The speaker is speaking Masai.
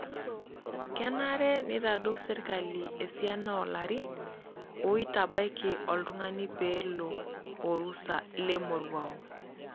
Kenare neitaduo serkali esiana oo larin oitabaiki oltungani pee elo orusa lemoruao.